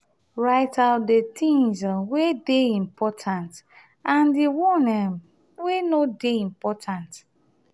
write out di things um wey dey important and di one um wey no dey important